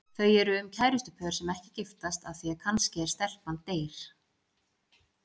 Þau eru um kærustupör sem ekki giftast af því kannski að stelpan deyr.